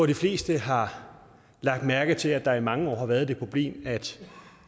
de fleste har lagt mærke til at der i mange år har været det problem at